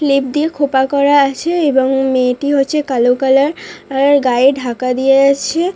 Clip দিয়ে খোপা করা আছে এবং মেয়েটি হচ্ছে কালো কালার আর গায়ে ঢাকা দিয়ে আছে।